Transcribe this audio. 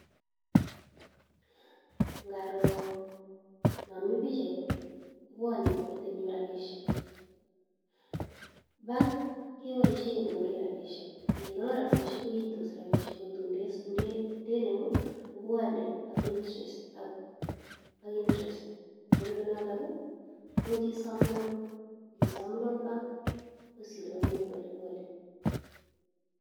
Ngaro no mi pichait, kobwone metit nyu rabisiek. Bank keboisie kegonoree rabisiek. Ngegonor rabisiek koitos rabisiek kotun nde ndenemu kobwone ak intrest ak ak intrest. Nerube notok, much isom loan. Ngisom loan bank kotos iliboni kopolepole.